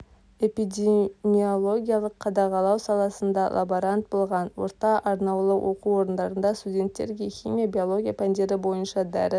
эпидемиологиялық қадағалау саласында лаборант болған орта арнаулы оқу орындарында студенттерге химия биология пәндері бойынша дәріс